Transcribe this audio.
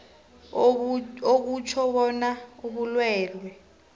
akutjho bona ubulwelwe